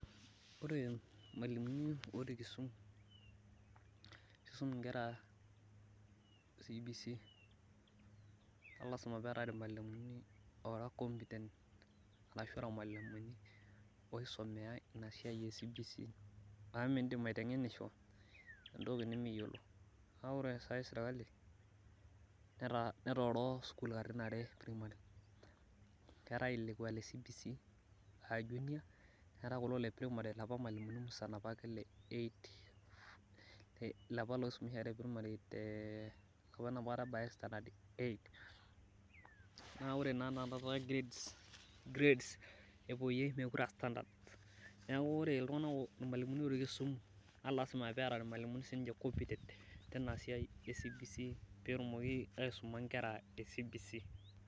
Ore irmwalimuni otii kisumu ,nisuminkera CBC naa lasima peetae irmwalimuni oracompetent ashu irmwalimuni oisomea inasiai eCBC amu mindim aitenisho entoki nimiyiolo naa ore sai sirkali netooro sukuul katitin are eprimary , keetae lekwa leCBC high junior , neetae kulo leprimary lapa mwalimuni musan lapa le eight , ilapa loisomesha primary enapakata ebayay standard eight naa ore naa anakata grades, grades epoyie mekure aastandards neeku ore iltunganak, irmwalimuni oisum naa lasima peeta irmwalimuni sininche competent tina siai eCBC petumoki aisuma nkera eCBC.